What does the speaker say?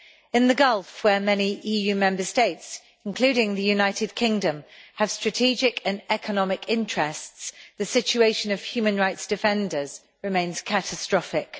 In the Gulf, where many EU Member States including the United Kingdom have strategic and economic interests, the situation of human rights defenders remains catastrophic.